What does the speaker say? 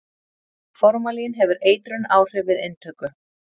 formalín hefur eitrunaráhrif við inntöku